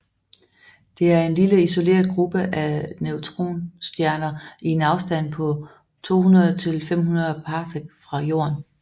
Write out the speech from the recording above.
Det er en lille isoleret gruppe af neutronstjerner i en afstand på 200 til 500 parsec fra Jorden